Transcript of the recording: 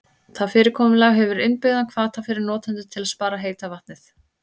Það fyrirkomulag hefur innbyggðan hvata fyrir notendur til að spara heita vatnið.